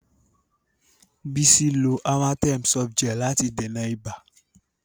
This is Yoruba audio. Bísí lo Amatem Softgel láti dènà ibà.